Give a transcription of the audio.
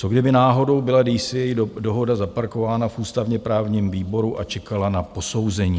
Co kdyby náhodou byla DCA dohoda zaparkována v ústavně-právním výboru a čekala na posouzení?